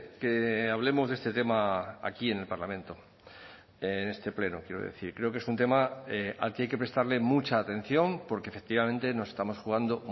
que hablemos de este tema aquí en el parlamento en este pleno quiero decir creo que es un tema al que hay que prestarle mucha atención porque efectivamente nos estamos jugando